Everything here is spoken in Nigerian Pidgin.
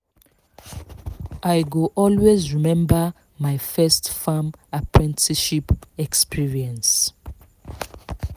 i go always remember my first farm apprenticeship experience